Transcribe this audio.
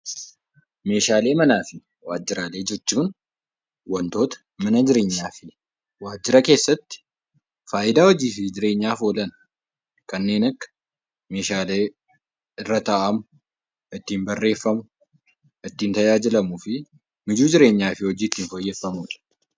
Meeshaalee manaa fi waajjiraa jechuun, meeshaalee mana keessaa fi waajjiraa keessatti faayidaa hojii fi jireenyaaf oolan kanneen akka meeshaalee irra taa'amu, irratti barreeffamu, ittiin tajaajilamuu fi mijuu jireenyaaf gargaarudha.